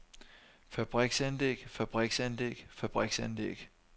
fabriksanlæg fabriksanlæg fabriksanlæg